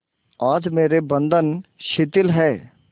आज मेरे बंधन शिथिल हैं